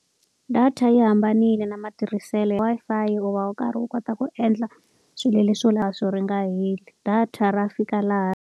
Data yi hambanile na matirhiselo ya Wi-Fi u va u karhi wu kota ku endla swilo leswo ri nga heli. Data ra fika laha.